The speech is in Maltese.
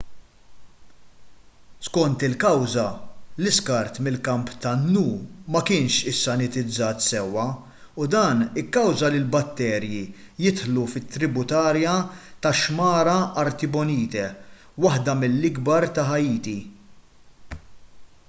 skont il-kawża l-iskart mill-kamp tan-nu ma kienx issanitizzat sewwa u dan ikkawża li l-batterji jidħlu fit-tributarja tax-xmara artibonite waħda mill-akbar ta' ħaiti